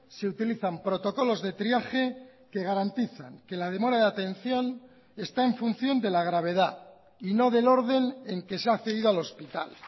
se utilizan protocolos de triaje que garantizan que la demora de atención está en función de la gravedad y no del orden en que se ha accedido al hospital